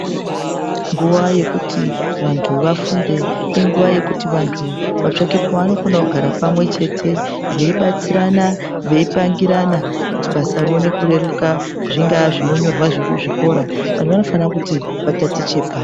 Nguva yekuti vantu vafunde inguva yekuti vantu vatsake pavanokona kugara pamwe chete. Veibatsirana veipangirana kuti basa rione kureruka zvingaa zvinonyorwa zvekuzvikora antu anofana kuti atatiche.